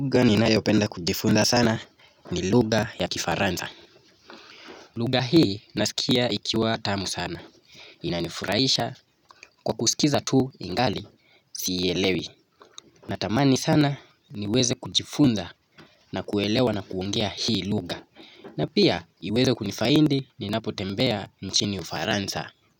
Lugha ninayopenda kujifunza sana ni lugha ya kifaransa. Lugha hii nasikia ikiwa tamu sana. Inanifurahisha kwa kusikiza tu ingali sielewi. Natamani sana niweze kujifunza na kuelewa na kuongea hii lugha na pia iweze kunifaidi ninapotembea nchini ufaransa.